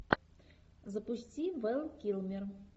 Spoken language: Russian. запусти вэл килмер